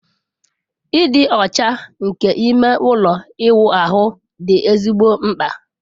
Ịdị ọcha nke ime ụlọ ịwụ ahụ dị ezigbo mkpa